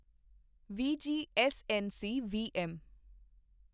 VG SNC VM